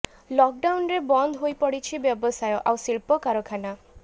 lock ଡାଉନ୍ରେ ବନ୍ଦ ହୋଇପଡିଛି ବ୍ୟବସାୟ ଆଉ ଶିଳ୍ପ କାରଖାନା